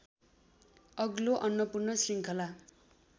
अग्लो अन्नपूर्ण श्रृङ्खला